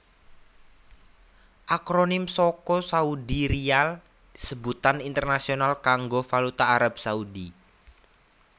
Akronim saka Saudi Riyal sebutan internasional kanggo valuta Arab Saudi